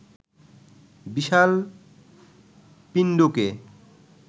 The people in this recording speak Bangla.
বিশাল পিণ্ডকে